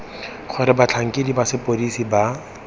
gore batlhankedi ba sepodisi ba